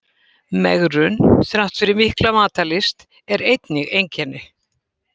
Megrun þrátt fyrir mikla matarlyst er einnig einkenni.